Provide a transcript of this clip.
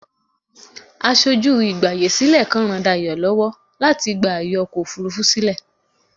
Aṣojú ìgbààyèsílẹ̀ kan ń ràn Dayọ̀ lọ́wọ́ láti gba ààyè ọkọ̀ òfurufú sílẹ̀.